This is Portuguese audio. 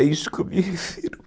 É isso que eu me refiro.